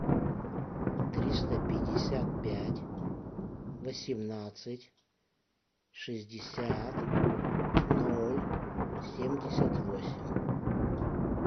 триста пятьдесят пять восемнадцать шестьдесят ноль семьдесят восемь